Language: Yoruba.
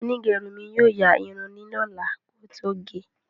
Onígerun mi yóò yaa irun li lola kí ó tó gẹ́